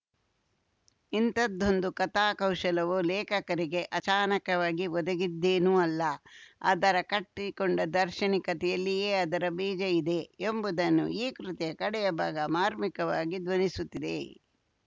ಇಂಥದೊಂದು ಕಥಾಕೌಶಲವು ಲೇಖಕರಿಗೆ ಅಚಾನಕವಾಗಿ ಒದಗಿದ್ದೇನೂ ಅಲ್ಲ ಅದರ ಕಟ್ಟಿಕೊಂಡ ದಾರ್ಶನಿಕತೆಯಲ್ಲಿಯೇ ಅದರ ಬೀಜ ಇದೆ ಎಂಬುದನ್ನು ಈ ಕೃತಿಯ ಕಡೆಯ ಭಾಗ ಮಾರ್ಮಿಕವಾಗಿ ಧ್ವನಿಸುತ್ತಿದೆ